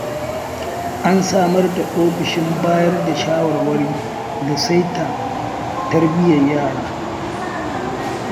An samar da ofishin bayar da shawarwari da saita tarbiyyar yara.